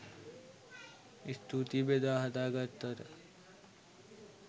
ස්තූතියි බෙදා හදා ගත්තට